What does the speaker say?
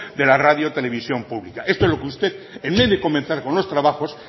de la radio televisión pública esto es lo que usted en vez de comenzar con los trabajos